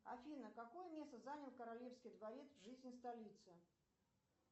афина какое место занял королевский дворец в жизни столицы